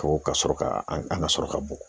Ko ka sɔrɔ ka an ka sɔrɔ ka bugɔ